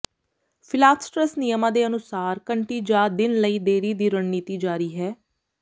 ਫਿਲਾਫਸਟ੍ਰਸ ਨਿਯਮਾਂ ਦੇ ਅਨੁਸਾਰ ਘੰਟੀ ਜਾਂ ਦਿਨ ਲਈ ਦੇਰੀ ਦੀ ਰਣਨੀਤੀ ਜਾਰੀ ਹੈ